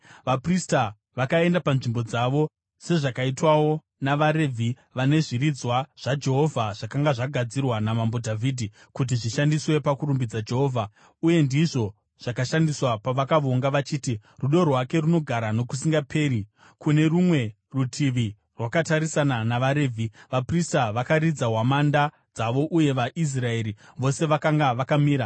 Vaprista vakaenda panzvimbo dzavo sezvakaitwawo navaRevhi vane zviridzwa zvaJehovha zvakanga zvagadzirwa naMambo Dhavhidhi kuti zvishandiswe pakurumbidza Jehovha uye ndizvo zvakashandiswa pavakavonga vachiti, “Rudo rwake runogara nokusingaperi.” Kune rumwe rutivi rwakatarisana navaRevhi, vaprista vakaridza hwamanda dzavo uye vaIsraeri vose vakanga vakamira.